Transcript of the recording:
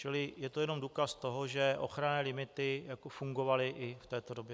Čili je to jenom důkaz toho, že ochranné limity fungovaly i v této době.